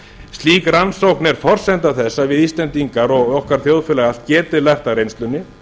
slík rannsókn er forsenda þess að við íslendingar og okkar þjóðfélag allt geti lært af reynslunni